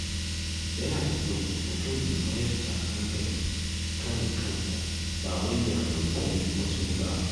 Yana da kyau mutum ya mayar da hankali kan kansa, ba wai ya kwaikwayi wasu ba.